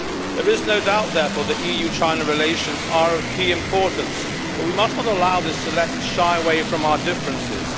There is no doubt, therefore, that EU China relations are of key importance, but we must not allow this to let us shy away from our differences.